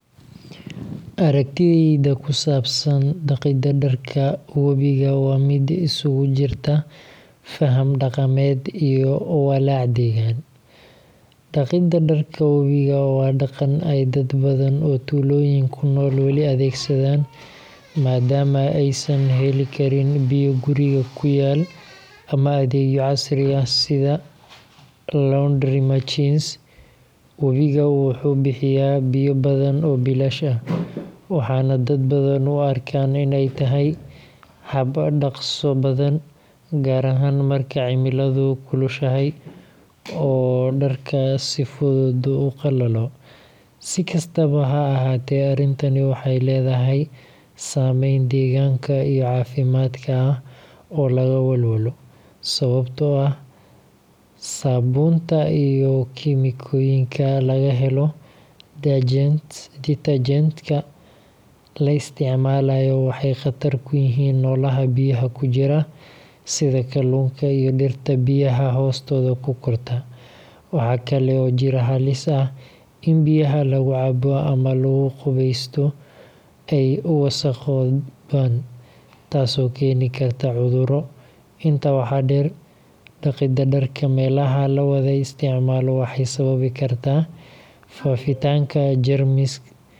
Aragtidayda ku saabsan dhaqidda dharka wabiga waa mid isugu jirta faham dhaqameed iyo walaac deegaan. Dhaqidda dharka wabiga waa dhaqan ay dad badan oo tuulooyinka ku nool weli adeegsadaan, maadaama aysan heli karin biyo guriga ku yaal ama adeegyo casri ah sida laundry machines. Wabiga wuxuu bixiyaa biyo badan oo bilaash ah, waxaana dad badan u arkaan in ay tahay hab dhaqso badan, gaar ahaan marka cimiladu kulushahay oo dharka si fudud u qalalo. Si kastaba ha ahaatee, arrintani waxay leedahay saameyn deegaanka iyo caafimaadka ah oo laga walwalo. Sababtoo ah saabuunta iyo kiimikooyinka laga helo detergents-ka la isticmaalayo waxay khatar ku yihiin noolaha biyaha ku jira, sida kalluunka iyo dhirta biyaha hoostooda ku korta. Waxaa kale oo jira halis ah in biyaha lagu cabo ama lagu qubeysto ay wasakhoobaan, taasoo keeni karta cudurro. Intaa waxaa dheer, dhaqidda dharka meelaha la wada isticmaalo waxay sababi kartaa faafitaanka jeermis iyo wasakhda dharka.